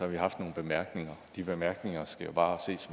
vi haft nogle bemærkninger og de bemærkninger skal bare ses